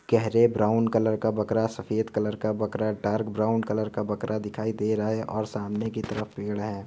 गहरे brown colour का बकरा सफेद कलर का बकरा डार्क ब्राउन कलर का बकरा दिखाई दे रहा है और सामने की तरफ पेड़ हैं ।